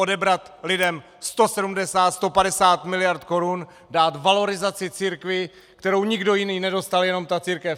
Odebrat lidem 170, 150 miliard korun, dát valorizaci církvi, kterou nikdo jiný nedostal, jenom ta církev!